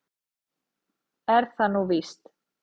Er það nú víst?